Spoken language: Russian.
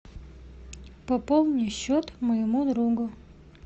пополни счет моему другу